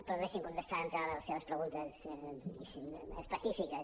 però deixi’m contestar d’entrada les seves preguntes diguéssim específiques